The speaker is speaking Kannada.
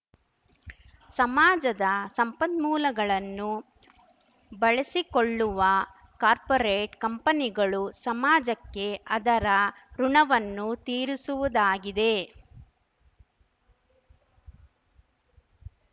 ಸಮಾಜದ ಸಂಪನ್ಮೂಲಗಳನ್ನು ಬಳಸಿಕೊಳ್ಳುವ ಕಾಪೋರ್‍ರೇಟ್‌ ಕಂಪನಿಗಳು ಸಮಾಜಕ್ಕೆ ಅದರ ಋುಣವನ್ನು ತೀರಿಸುವುದಾಗಿದೆ